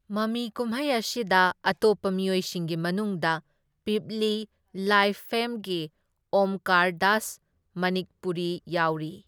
ꯃꯃꯤ ꯀꯨꯝꯍꯩ ꯑꯁꯤꯗ ꯑꯇꯣꯞꯄ ꯃꯤꯑꯣꯏꯁꯤꯡꯒꯤ ꯃꯅꯨꯡꯗ ꯄꯤꯞꯂꯤ ꯂꯥꯏꯚ ꯐꯦꯝꯒꯤ ꯑꯣꯝꯀꯥꯔ ꯗꯥꯁ ꯃꯅꯤꯛꯄꯨꯔꯤ ꯌꯥꯎꯔꯤ꯫